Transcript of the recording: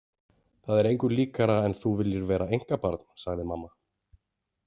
Það er engu líkara en þú viljir vera einkabarn, sagði mamma.